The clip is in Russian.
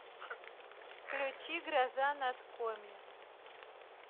включи гроза над коми